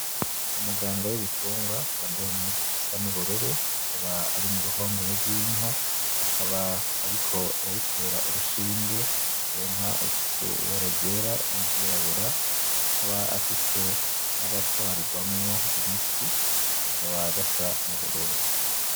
Umuganga wibitungwa yambaye impuzu zisa nubururu akaba ari muruhongore rwinka akaba ariko arayitera urushinge, iyo nka ifise ibara ryera n'iryirabura akaba afise n'agatwarirwamwo imiti kakaba gasa n'ubururu.